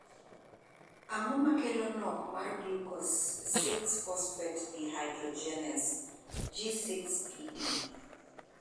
Ang'o ma kelo nok mar glucose 6 phosphate dehydrogenase (G6PD)